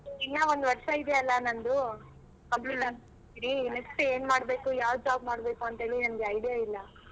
ಇನ್ನ ಒಂದು ವರ್ಷ ಇದೆ ಅಲ್ಲ ನಂದು complete ಮಾಡಿ next ಏನ್ ಮಾಡಬೇಕು ಯಾವ್ job ಮಾಡ್ಬೇಕು ಅಂತೇಳಿ ನಂಗೆ idea ಇಲ್ಲ.